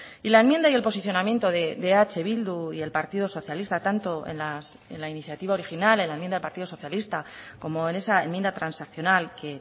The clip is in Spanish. y la enmienda y el posicionamiento de eh bildu y el partido socialista tanto en la iniciativa original en la enmienda del partido socialista como en esa enmienda transaccional que